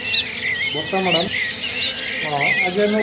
ବର୍ଷା madam ହଁ ଆଜି ଆମେ